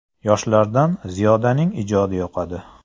Yoshlardan Ziyodaning ijodi yoqadi.